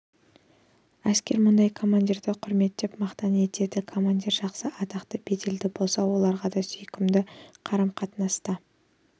әскер мұндай командирді құрметтеп мақтан етеді командир жақсы атақты беделді болса оларға да ұнамды сүйкімді қарым-қатынаста